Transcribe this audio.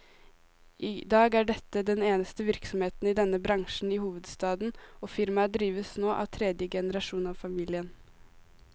I dag er dette den eneste virksomheten i denne bransjen i hovedstaden, og firmaet drives nå av tredje generasjon av familien.